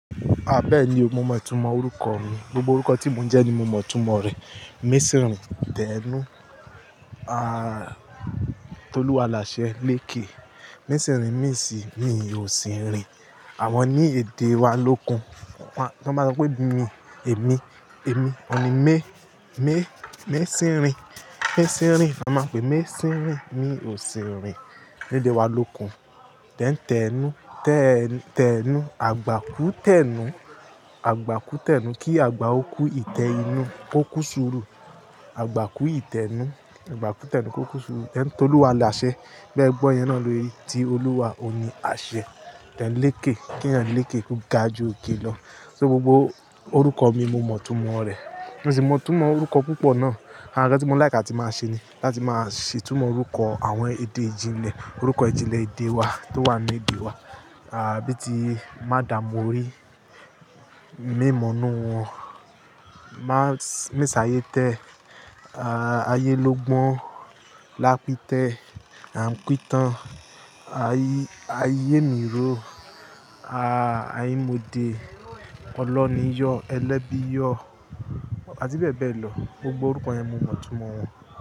A bẹ́ẹ̀ ni o mo mọ̀ itúmọ̀ orúkọ mi. Gbogbo orúkọ tí mo ń jẹ ni mo mọ̀ túmọ̀ rẹ̀. Mésìǹrín, Tẹ́énu, a, Tolúwalàṣẹ, Léke. Misìǹrín, mi n si, mi ò sì ń rìn. Àwọn ni èdè wa lókun. Tọ́n máa ń pe bu mi, èmi, èmi. Òun ni me, me, mésìǹrín, mésìǹrín. Wọ́n máa pè mésìǹrín, mi ò sì ń rìn. Nílé wa lókun. Tẹ́ n, Tẹ́nu. Tẹ́é, Tẹ́nu. Àgbákú Tẹ́nu. Àgbákú Tẹ́nu. Kí àgbà ó kú, ìtẹ́ inú ó kú ṣúùrù. Àgbákú ìtẹ́nú. Àgbákú Tẹ́nu kó kú ṣúùrù. Tẹ́ń, Tolúwalàṣẹ. Bí ẹ gbọ́ yẹn náà ló yí, tí Olúwa ó ni àṣẹ. Tẹ́ń, Léke. Kí ẹ̀yan Léke kó ga ju òkè lọ. So gbogbo orúkọ mi mo mọ̀ túmọ̀ rẹ̀. Mo sì mọ̀ túmọ̀ orúkọ púpọ̀ náà. Àwòn nkan tí mo láìká tí máa ṣe ni láti máa ṣè túnmọ̀ orúkọ àwọn èdè ìjìnlẹ̀, orúkọ ìjìnlẹ̀ èdè wa tó wà ní èdè wa. A, bí i tí Madamu orí, Mèmọ̀nú wọn, Má, Mèsáyétẹ́, a, Ayélógbọ́n, Lápítẹ́, Ànkítàn, Ayémírò, a, Ayémòde, Olóníyọ̀, Elẹ́bíyọ̀, àti bẹ́ẹ̀ bẹ́ẹ̀ lọ. Gbogbo orúkọ yẹn mo mọ̀ túmọ̀ wọn.